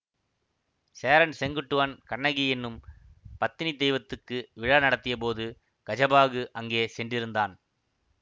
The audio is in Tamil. சேரன் செங்குட்டுவன் கண்ணகி என்னும் பத்தினி தெய்வத்துக்கு விழா நடத்தியபோது கஜபாகு அங்கே சென்றிருந்தான்